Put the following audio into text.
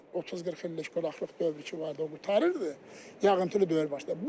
30-40 illik quraqlıq dövrü ki vardı, o qurtarırdı, yağıntılı dövr başladı.